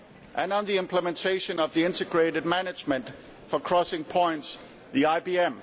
and the implementation of the integrated management for crossing points, the IBM.